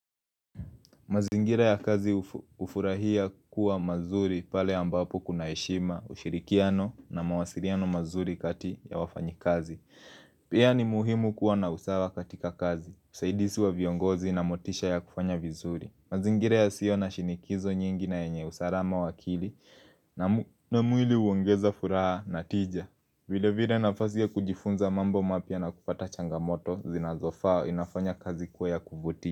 Mazingira ya kazi hufurahia kuwa mazuri pale ambapo kuna heshima, ushirikiano na mawasiriano mazuri kati ya wafanyi kazi. Pia ni muhimu kuwa na usawa katika kazi, usaidisi wa viongozi na motisha ya kufanya vizuri. Mazingira ya sio na shinikizo nyingi na enye usarama wa akili na mwili uongeza furaha na tija. Vile vile nafasi ya kujifunza mambo mapya na kupata changamoto zinazofaa inafanya kazi kuwa ya kuvuti.